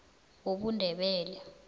wobundebele